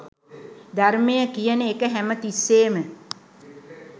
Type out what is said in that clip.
ධර්මය කියන එක හැම තිස්සේම